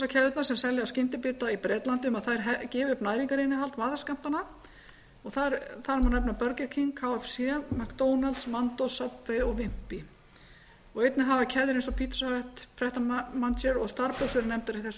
veitingahúsakeðjurnar sem selja skyndibita í bretlandi um að þær gefi upp næringarinnihald matarskammtanna en þær eru burger king kfc mcdonalds mandos subway og wimpy einnig hafa keðjur eins og pizza hut pret a manger og starbucks verið nefndar í þessu